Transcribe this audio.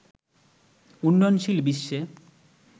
উন্নয়নশীল বিশ্বে